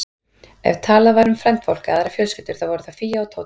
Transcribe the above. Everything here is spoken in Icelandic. Ef talað var um frændfólk eða aðrar fjölskyldur, þá voru það Fía og Tóti.